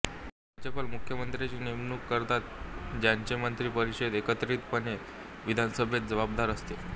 राज्यपाल मुख्यमंत्र्यांची नेमणूक करतात ज्यांचे मंत्री परिषद एकत्रितपणे विधानसभेत जबाबदार असते